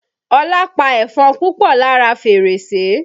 Olá pa ẹ̀fọn púpọ̀ lára fèrèsé